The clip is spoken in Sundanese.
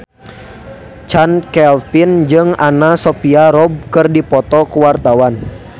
Chand Kelvin jeung Anna Sophia Robb keur dipoto ku wartawan